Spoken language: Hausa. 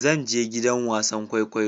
Zan je gidan wasan kwaikwayo